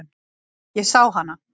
Ég sá hana.